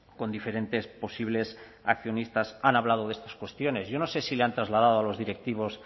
con diferentes posibles accionistas han hablado de estas cuestiones yo no sé si le han trasladado a los directivos